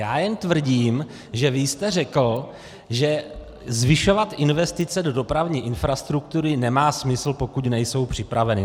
Já jen tvrdím, že vy jste řekl, že zvyšovat investice do dopravní infrastruktury nemá smysl, pokud nejsou připraveny.